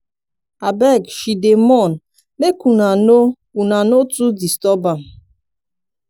abeg she dey mourn make una no una no too disturb am.